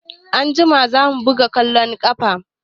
Anjima za mu buga ƙwallon ƙafa.